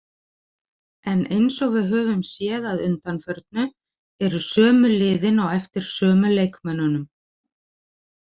En eins og við höfum séð að undanförnu eru sömu liðin á eftir sömu leikmönnunum.